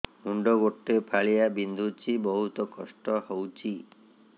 ମୁଣ୍ଡ ଗୋଟେ ଫାଳିଆ ବିନ୍ଧୁଚି ବହୁତ କଷ୍ଟ ହଉଚି